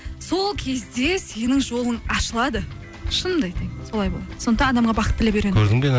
сол кезде сенің жолың ашылады шынымды айтайын солай болады сондықтан адамға бақыт тілеп үйрен